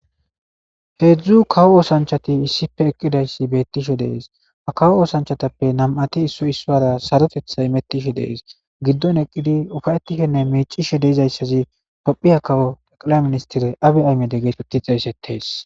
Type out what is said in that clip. Heedzdzu kawo oosanchati issife eqqidayssi beettisho dees a kawo oosanchatappe nam7ati issoy issuara sarotetha imettishe dees giddon eqqidi ufayetishenne miicisho deizayssazi kopphiya kawo eqila ministire abi aymedeg geetoti xe seteys.